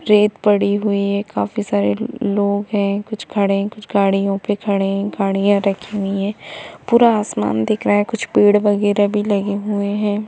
रेत पडी हुई हैं काफी सारे लोग हैं कुछ खड़े कुछ गाड़ियों पे खड़े गाड़ियां रखी हुई हैं पूरा आसमान दिक रहा हैं कुछ पेड़ वागेरा भी लगे हुए हैं ।